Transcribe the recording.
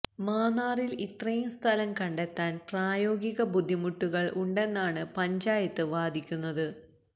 മാന്നാറില് ഇത്രയും സ്ഥലം കണ്ടെത്താന് പ്രായോഗിക ബുദ്ധിമുട്ടുകള് ഉണ്ടെന്നാണ് പഞ്ചായത്ത് വാദിക്കുന്നത്